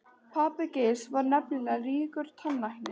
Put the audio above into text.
Pabbi Geirs var nefnilega ríkur tannlæknir.